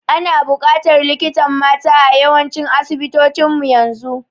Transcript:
Ana bukatar likitan mata a yawancin asibitocin mu yanzu